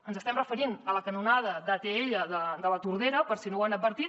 ens estem referint a la canonada d’atll de la tordera per si no ho han advertit